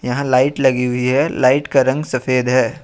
यहां लाइट लगी हुई है लाइट का रंग सफेद है।